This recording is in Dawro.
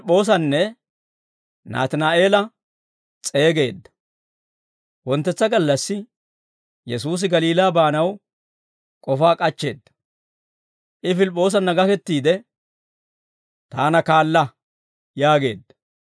Wonttetsa gallassi Yesuusi Galiilaa baanaw k'ofaa k'achcheedda; I Pilip'p'oosanna gakettiide, «Taana kaala!» yaageedda.